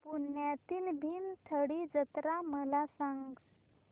पुण्यातील भीमथडी जत्रा मला सांग